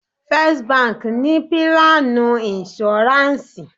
First báńkì ni pílánù ìnṣúráǹsì.